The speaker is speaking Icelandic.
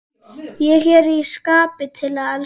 Ég er í skapi til að elska!